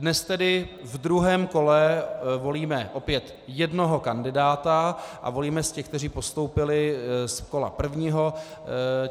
Dnes tedy v druhém kole volíme opět jednoho kandidáta a volíme z těch, kteří postoupili z kola prvního.